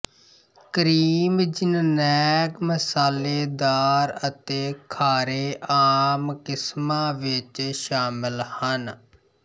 cream ਜਿੰਨਨੈਂਗ ਮਸਾਲੇਦਾਰ ਅਤੇ ਖਾਰੇ ਆਮ ਕਿਸਮਾਂ ਵਿੱਚ ਸ਼ਾਮਲ ਹਨ